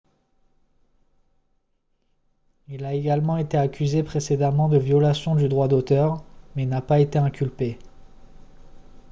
il a également été accusé précédemment de violation du droit d'auteur mais n'a pas été inculpé